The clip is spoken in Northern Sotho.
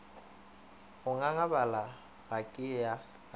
go ngangabala ga ke ye